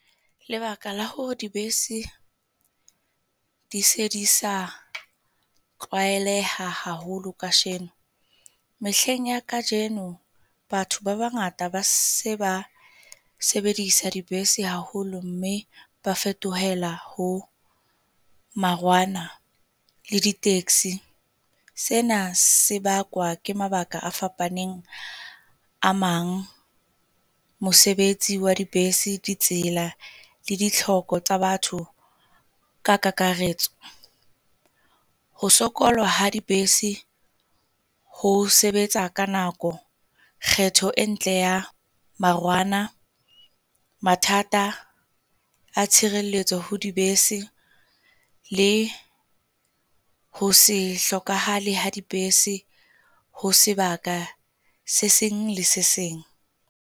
Lebaka la hore dibese di se di sa tlwaelehahaholo kasheno. Mehleng ya kajeno, batho ba bangata ba se se ba sebedisa dibese haholo, mme ba fetohela ho marwana le di-taxi. Sena se bakwa ke mabaka a fapaneng a mang mosebetsi wa dibese di tsela le di tlhoko tsa batho ka kakaretso. Ho sokolwa ha dibese ho sebetsa ka nako, kgetho e ntle ya marwana, mathata a tshireletso ho dibese le ho hlokahale ha dibese ho sebaka se seng le se seng.